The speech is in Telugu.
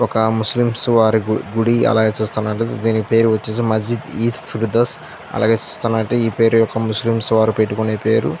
ఒక ముస్లిమ్స్ వారి గుడి అలాగే చూస్తున్నట్లైతే దీని పేరు వచ్చేసి మసీద్ ఈ ఫిర్దోస్ అలాగే చూస్తున్నట్లైతే ఈ పేరు ముస్లిం వాళ్ళు పెట్టుకునే పేరు.